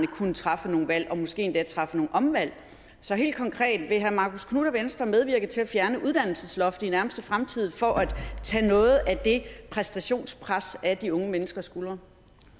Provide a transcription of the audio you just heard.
kunne træffe nogle valg og måske endda træffe nogle omvalg så helt konkret vil herre marcus knuth og venstre medvirke til at fjerne uddannelsesloftet i nærmeste fremtid for at tage noget af det præstationspres af de unge menneskers skuldre